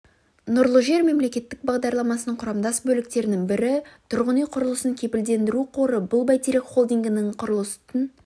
нұрлы жер мемлекеттік бағдарламасының құрамдас бөліктерінің бірі тұрғын үй құрылысын кепілдендіру қоры бұл бәйтерек холдингінің құрылыстың